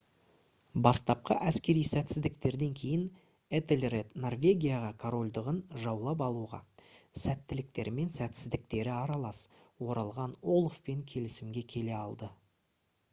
бастапқы әскери сәтсіздіктерден кейін этельред норвегияға корольдығын жаулап алуға сәттіліктері мен сәтсіздіктері аралас оралған олафпен келісімге келе алды